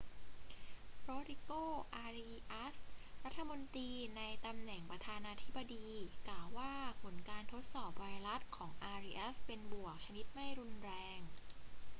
โรดริโก อาริอัส รัฐมนตรีในตำแหน่งประธานาธิบดี กล่าวว่าผลการทดสอบไวรัสของอาริอัสเป็นบวกชนิดไม่รุนแรง